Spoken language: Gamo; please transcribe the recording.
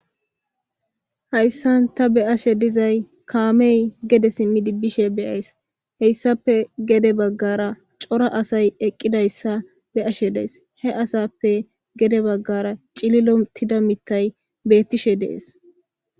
Hayssan ta be ashe dizay kaamey gede simmidi bishe beyays heyssape gede baggara cora asay eqqidayssa be ashe dees he asappe gede baggara cililotida mittay bettishe dees.